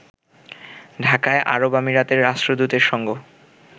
ঢাকায় আরব আমিরাতের রাষ্ট্রদূতের সঙ্গ